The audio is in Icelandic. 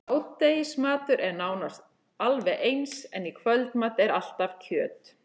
Hádegisverður er nánast alveg eins, en í kvöldmat er alltaf kjöt.